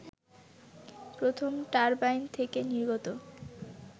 প্রথম টারবাইন থেকে নির্গত